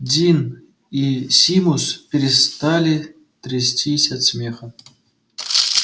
дин и симус перестали трястись от смеха